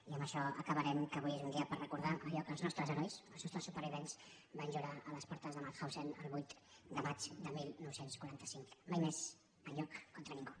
i amb això acabarem que avui és un dia per recordar allò que els nostres herois els nostres supervivents van jurar a les portes de mauthausen el vuit de maig de dinou quaranta cinc mai més enlloc contra ningú